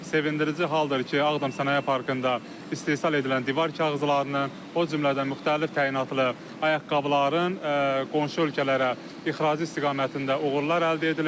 Sevindirici haldır ki, Ağdam Sənaye Parkında istehsal edilən divar kağızlarının, o cümlədən müxtəlif təyinatlı ayaqqabıların qonşu ölkələrə ixracı istiqamətində uğurlar əldə edilib.